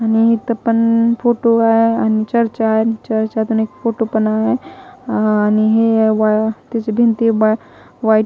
आणि इथं पण फोटो आ आणि चर्चा आहे आणि चर्चा अनेक फोटो पण आहे आणि हे त्याची भिंती व्हाईट --